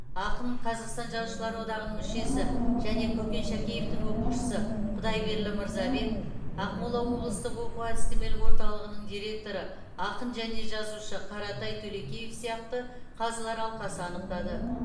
ақын қазақстан жазушылар одағының мүшесі және көкен шәкеевтің оқушысы құдайберлі мырзабек ақмола облыстық оқу әдістемелік орталығының директоры ақын және жазушы қаратай төлекеев сияқты қазылар алқасы анықтады